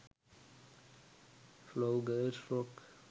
flower girls frock